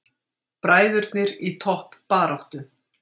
Bræðurnir í toppbaráttu